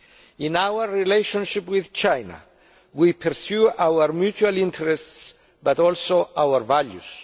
In our relationship with China, we pursue our mutual interests but also our values.